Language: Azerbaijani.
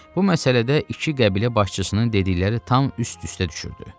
Bu məsələdə iki qəbilə başçısının dedikləri tam üst-üstə düşürdü.